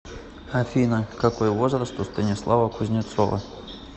афина какой возраст у станислава кузнецова